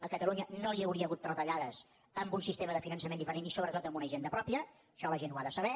a catalunya no hi hauria hagut retallades amb un sistema de finançament diferent i sobretot amb una hisenda pròpia això la gent ho ha de saber